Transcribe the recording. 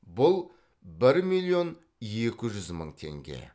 бұл бір миллион екі жүз мың теңге